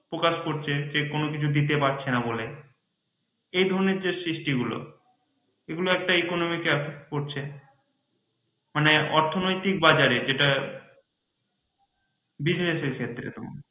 প্রকাশ করছে যে কোন কিছু দিতে পারছে না বলে এই ধরণের যে সৃষ্টি গুলো এগুলো একটা economic affect পড়ছে মানে অর্থনৈতিক বাজারে business এর ক্ষেত্রে